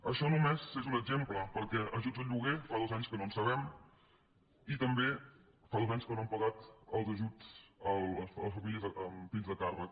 això només n’és un exemple perquè d’ajuts al lloguer fa dos anys que no en sabem i també fa dos anys que no han pagat els ajuts a les famílies amb fills a càrrec